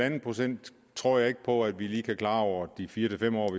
en procent tror jeg ikke på at vi lige kan klare over de fire fem år